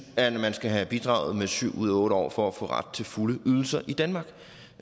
at man skal have bidraget her i syv ud af otte år for at få ret til fulde ydelser i danmark